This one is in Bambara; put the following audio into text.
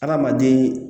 Adamaden